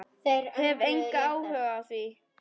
Hef engan áhuga á því.